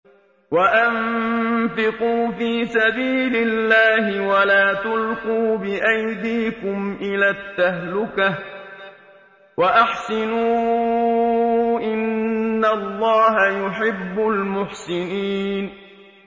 وَأَنفِقُوا فِي سَبِيلِ اللَّهِ وَلَا تُلْقُوا بِأَيْدِيكُمْ إِلَى التَّهْلُكَةِ ۛ وَأَحْسِنُوا ۛ إِنَّ اللَّهَ يُحِبُّ الْمُحْسِنِينَ